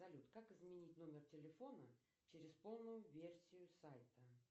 салют как изменить номер телефона через полную версию сайта